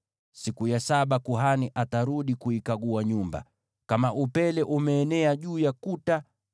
Siku ya saba, kuhani atarudi kuikagua nyumba. Kama upele umeenea juu ya kuta,